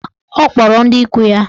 Mba, ọ kpọrọ ndị ikwu ya.